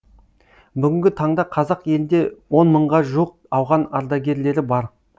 бүгінгі таңда қазақ елінде он мыңға жуық ауған ардагерлері бар